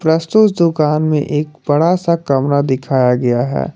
प्रस्तुत दुकान में एक बड़ा सा कमरा दिखाया गया है।